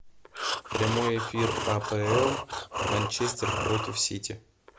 прямой эфир апл манчестер против сити